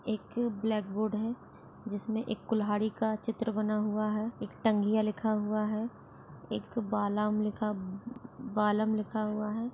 एक blackboard है जिसमे एक कुल्हाड़ी का चित्र बना हुआ है एक टंगिया लिखा हुआ है एक बालम लिखा-बालम लिखा हुआ है।